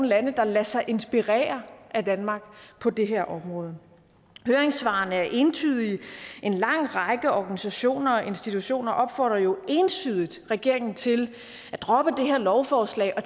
lande der lader sig inspirere af danmark på det her område høringssvarene er entydige en lang række organisationer og institutioner opfordrer jo entydigt regeringen til at droppe det her lovforslag og